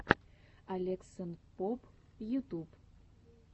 алексанпоб ютуб